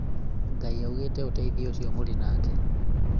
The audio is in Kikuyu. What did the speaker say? Ngai augĩte ũteithie ũciomũrĩ nake